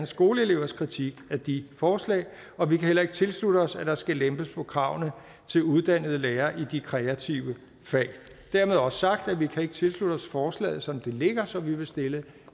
skoleelevers kritik af de forslag og vi kan heller ikke tilslutte os at der skal lempes på kravene til uddannede lærere i de kreative fag dermed også sagt at vi ikke kan tilslutte os forslaget som det ligger så vi vil stille